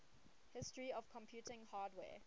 history of computing hardware